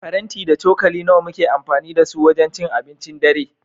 Faranti da cokali nawa muke amfani da su wajen cin abincin dare?